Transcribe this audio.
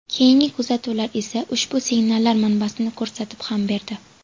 Keyingi kuzatuvlar esa ushbu signallar manbasini ko‘rsatib ham berdi.